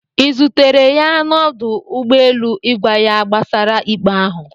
ị zutere ya na ọdụ ụgbọ elu ịgwa ya gbasara ikpe ahụ?